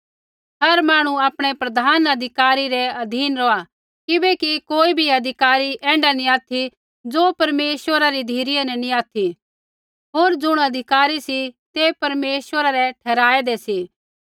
हर मांहणु आपणै प्रधान अधिकारी रै अधीन रौहा किबैकि कोई भी अधिकार ऐण्ढा नैंई ऑथि ज़ो परमेश्वरा री धिरै न नैंई ऑथि होर ज़ुण अधिकार सी तै परमेश्वरा रै ही ठहराऐदै सी